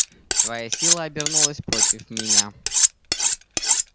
твоя сила обернулась против меня